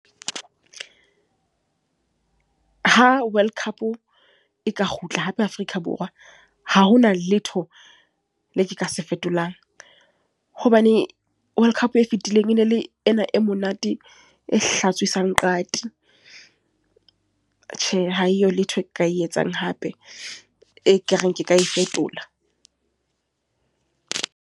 Ha World Cup, e ka kgutla hape Afrika Borwa. Ha hona letho, le ke ka se fetolang. Hobane World Cup e fitileng enele ena e monate, e hlatswisang qati. Tjhe, ha eyo letho ka e etsang hape, e ka reng ke ka e fetola.